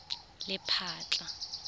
lephatla